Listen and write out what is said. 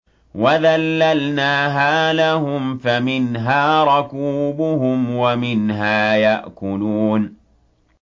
وَذَلَّلْنَاهَا لَهُمْ فَمِنْهَا رَكُوبُهُمْ وَمِنْهَا يَأْكُلُونَ